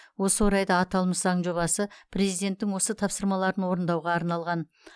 осы орайда аталмыш заң жобасы президенттің осы тапсырмаларын орындауға арналған